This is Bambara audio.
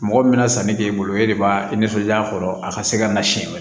Mɔgɔ min bɛna sanni k'e bolo e de b'a i nisɔndiya a kɔrɔ a ka se ka na siyɛn wɛrɛ